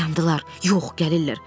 Dayandılar, yox, gəlirlər.